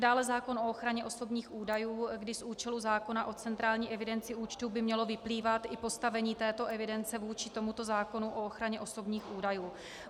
Dále zákon o ochraně osobních údajů, kdy z účelu zákona o centrální evidenci účtů by mělo vyplývat i postavení této evidence vůči tomuto zákonu o ochraně osobních údajů.